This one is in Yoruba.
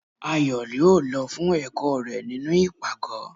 Ayo yóò lọ fún ẹkọ rẹ nínú ipágọ